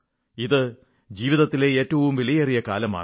അത് ജീവിതത്തിലെ ഏറ്റവും വിലയേറിയ കാലമാണ്